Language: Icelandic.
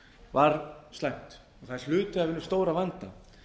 var slæmt það er hluti af hinum stóra vanda